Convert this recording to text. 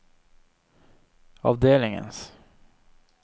avdelingens